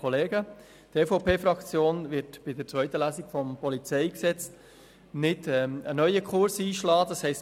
Die EVP-Fraktion wird in der zweiten Lesung des PolG keinen neuen Kurs einschlagen.